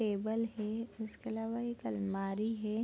Table है उसके अलावा एक अलमारी है।